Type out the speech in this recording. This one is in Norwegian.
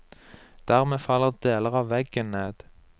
Dermed faller deler av veggen ned.